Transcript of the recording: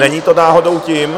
Není to náhodou tím?